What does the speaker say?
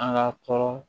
An ka tɔɔrɔ